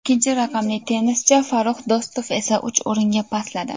Ikkinchi raqamli tennischi Farrux Do‘stov esa uch o‘ringa pastladi.